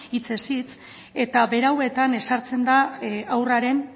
hitzez hitz eta berauetan ezartzen da haurraren